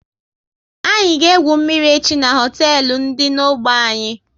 Anyị ga egwu mmiri echi n'hoteelu dị n'ogbe anyị